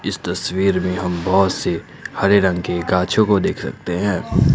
इस तस्वीर में हम बहोत से हरे रंग के गाछो को देख सकते हैं।